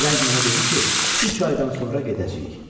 Firəng mənə dedi ki, üç aydan sonra gedəcəyik.